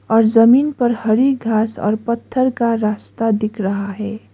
और जमीन पर हरि घास और पत्थर का रास्ता दिख रहा है।